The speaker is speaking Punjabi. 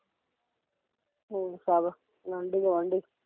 ਹੋਰ ਸਭ ਆਂਡੀ ਗਵੰਡੀਂ